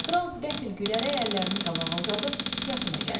Kral qəfil gülərək əllərini qabağa uzadıb yaxına gəldi.